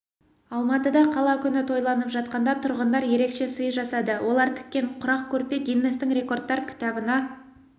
алматыда қала күні тойланып жатқанда тұрғындар ерекше сый жасады олар тіккен құрақ көрпе гиннестің рекордтар кітабына